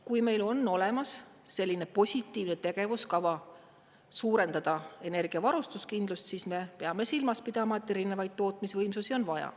Kui meil on olemas selline positiivne tegevuskava suurendada energiavarustuskindlust, siis me peame silmas pidama, et erinevaid tootmisvõimsusi on vaja.